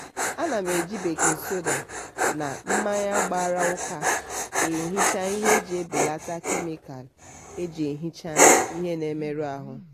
ana m eji bakin soda na mmanya gbara ụka ehicha ihe iji belata kemịkalụ e ji ehicha ihe na-emerụ ahụ